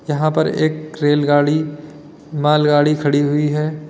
यहां पर एक रेलगाड़ी मालगाड़ी खड़ी हुई है।